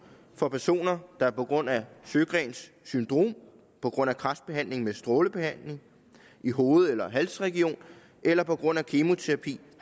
for personer der på grund af sjøgrens syndrom på grund af kræftbehandling med strålebehandling i hoved eller halsregion eller på grund af kemoterapi